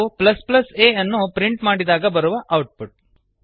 ಇದು a ಅನ್ನು print ಮಾಡಿದಾಗ ಬರುವ ಔಟ್ ಪುಟ್